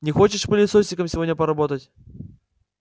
не хочешь пылесосиками сегодня поработать